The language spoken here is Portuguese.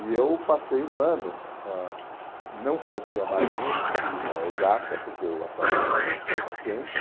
E eu passei um ano, ãh não fazia mais nenhuma disciplina exata, porque eu achava que já estava suficiente.